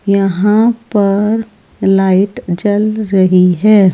यहां पर लाइट जल रही है।